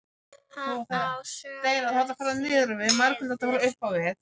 Hann á sögu, því miður.